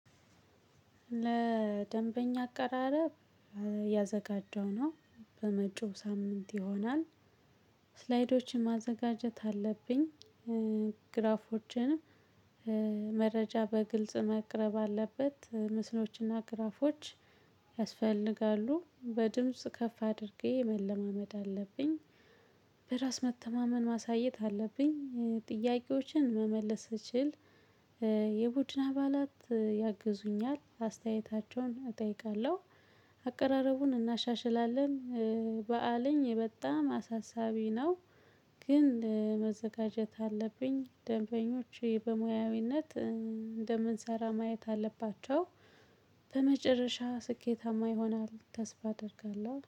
ለደንበኛ አቀራረብ ያዘጋጀው ነው በመጪው ሳምንት ይሆናል። ስላይዶችን ማዘጋጀት አለብኝ። ግራፎችን። መረጃ በግልጽ መቅረብ አለበት ምስሎችና ግራፎች ያስፈልጋሉ። በድምጽ ከፍ አድርጌ መለማመድ አለብኝ። በራስ መተማመን ማሳየት አለብኝ ጥያቄዎችን መመለስ እችል። የቡድን አባላት ያግዙኛል አስተያየታቸውን እጠይቃለሁ። አቀራረቡን እናሸሽላለን። ባዓለኝ በጣም አሳሳቢ ነው። ግን መዘጋጀት አለብኝ ደንበኞች በሙያዊነት እንደምንሰራ ማየት አለባቸው። በመጨረሻ ስኬታማ ይሆናል ተስፋ አደርጋለሁ